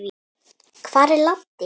Hvar er Laddi?